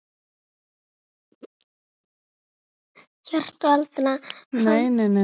Hélt varla vatni yfir þeim.